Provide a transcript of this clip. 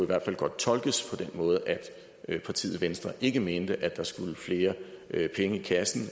hvert fald godt tolkes på den måde at partiet venstre ikke mente at der skulle flere penge i kassen